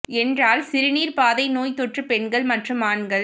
என்றால் சிறுநீர் பாதை நோய் தொற்று பெண்கள் மற்றும் ஆண்கள்